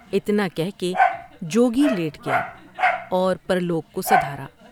اتنا کہہ کے جوگی لیٹ گیا اور پر لوگ کو سدھارا ۔